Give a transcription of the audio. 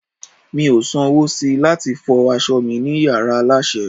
mi o san wo sí lati fi aso mi ni yara aláṣẹ